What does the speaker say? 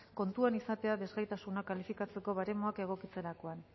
kontutan izatea desgaitasuna kalifikatzeko baremoak egokitzerakoan